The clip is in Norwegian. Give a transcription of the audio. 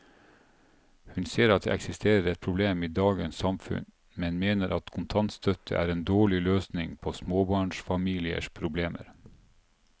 Hun ser at det eksisterer et problem i dagens samfunn, men mener at kontantstøtte er en dårlig løsning på småbarnsfamiliers problemer.